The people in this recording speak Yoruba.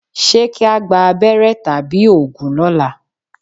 Ṣé kí á gba abẹ́rẹ́ àbí òògùn lọ́la?